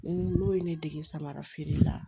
Ne n'o ye ne dege samara feere la